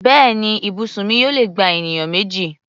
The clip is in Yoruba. Bẹ́ẹ̀ni, ibùsùn mi yóò lè gba ènìyàn méjì.